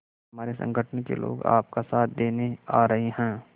हमारे संगठन के लोग आपका साथ देने आ रहे हैं